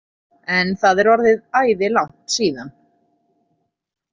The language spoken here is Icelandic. En það er orðið æði langt síðan.